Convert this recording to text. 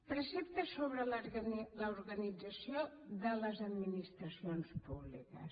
preceptes sobre l’organització de les administracions públiques